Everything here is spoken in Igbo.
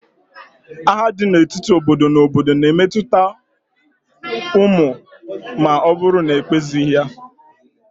Agha dị n'etiti obodo na obodo na-emetụta ụmụ ma ọ bụrụ na ekpezighi ya.